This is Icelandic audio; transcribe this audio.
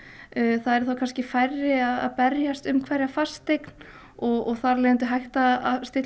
það eru færri að berjast um hverja fasteign og þar af leiðandi hægt að stilla